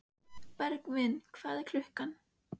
Bergvin, hvað er klukkan?